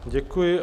Děkuji.